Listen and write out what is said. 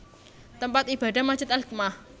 Tempat Ibadah Masjid Al Hikmah